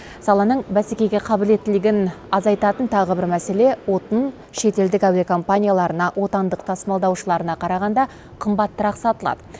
саланың бәсекеге қабілеттілігін азайтатын тағы бір мәселе отын шетелдік әуе компанияларына отандық тасымалдаушыларына қарағанда қымбатырақ сатылады